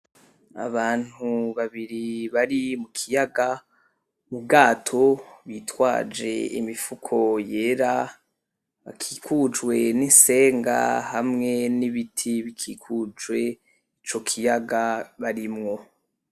Abantu babiri bari mu kiyaga mu bwato bitwaje imifuko yera akikujwe n'isenga hamwe n'ibiti bikikujwe ico kiyaga barimwo.